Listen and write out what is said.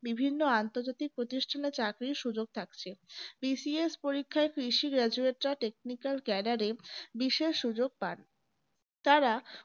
বিভিন্ন আন্তর্জাতিক প্রতিষ্ঠানের চাকরি সুযোগ থাকে BCS পরীক্ষায় কৃষি graduate রা technical cadre এ বিশেষ সুযোগ পান তারা